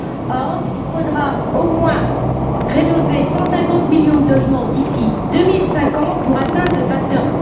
Or, il faudra au moins rénover 150 millions de logements d'ici 2050 pour atteindre le facteur